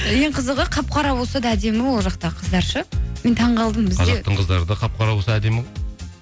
ең қызығы қап қара болса да әдемі ол жақтағы қыздар ше мен таңғалдым қыздары қап қара болса да әдемі ғой